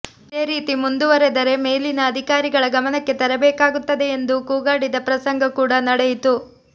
ಇದೇ ರೀತಿ ಮುಂದುವರೆದರೆ ಮೇಲಿನ ಅಧಿಕಾರಿಗಳ ಗಮನಕ್ಕೆ ತರಬೇಕಾಗುತ್ತದೆ ಎಂದು ಕೂಗಾಡಿದ ಪ್ರಸಂಗ ಕೂಡ ನಡೆಯಿತು